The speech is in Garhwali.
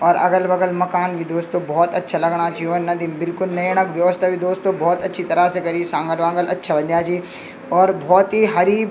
और अगल बगल मकान भी दोस्तों भौत अच्छा लगणा छि व नदि म बिलकुल नयेणाक व्यवस्था भी दोस्तों भौत अच्छी तरह से करीं सांगल वांगल अच्छा बंध्या छी और भौत ही हरी।